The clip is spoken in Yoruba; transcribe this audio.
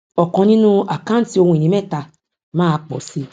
ọkàn nínú àkáǹtí ohun ìní mẹta máa pò sí